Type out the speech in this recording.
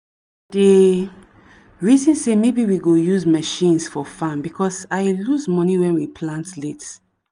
dey reason say maybe we go use machines for farm because i lose money when we plant late.